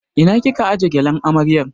Ina kika aje gyalen amaryar?